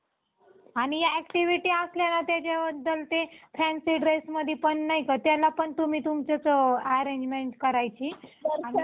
आणि activityअसल्या ना त्याच्यावर ते fancy dressमध्ये पण नाही का त्याला पण तुम्ही तुमचंच arrangement करायची आणि